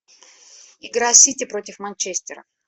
игра сити против манчестера